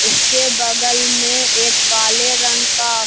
इसके बगल में एक काले रंग का --